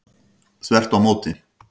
Þvert á móti.